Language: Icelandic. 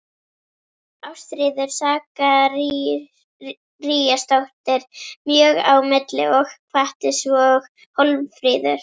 Ástríður Sakaríasdóttir mjög á milli og hvatti, svo og Hólmfríður